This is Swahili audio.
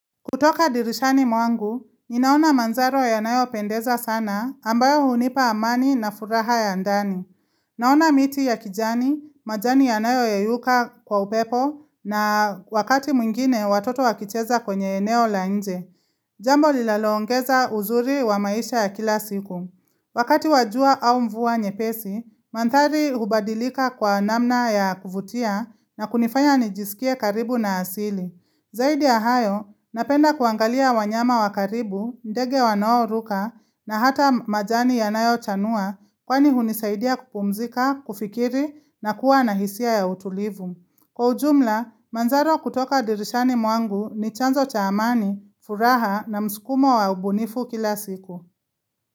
Kutoka dirishani mwangu, ninaona mandhari yanayopendeza sana ambayo hunipa amani na furaha ya ndani. Naona miti ya kijani, majani yanayoyeyuka kwa upepo na wakati mwingine watoto wakicheza kwenye eneo la nje. Jambo lilalongeza uzuri wa maisha ya kila siku. Wakati wa jua au mvua nyepesi, mandhari hubadilika kwa namna ya kuvutia na kunifanya nijisikie karibu na asili. Zaidi ya hayo, napenda kuangalia wanyama wa karibu, ndege wanaoruka na hata majani yanayochanua kwani hunisaidia kupumzika, kufikiri na kuwa na hisia ya utulivu. Kwa ujumla, mandhari kutoka dirishani mwangu ni chanzo cha amani, furaha na msukumo wa ubunifu kila siku.